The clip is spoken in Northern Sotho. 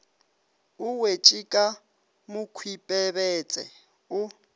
o wetše ka mokhwipebetse o